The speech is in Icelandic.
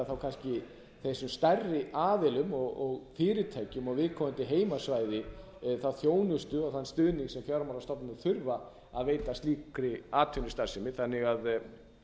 þá kannski þessum stærri aðilum og fyrirtækjum á viðkomandi heimasvæði þá þjónustu og þann stuðning sem fjármálastofnanir þurfa að veita slíkri atvinnustarfsemi þannig að